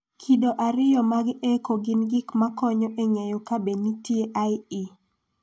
Kido ariyo mag echo gin gik ma konyo e ng�eyo ka be nitie IE.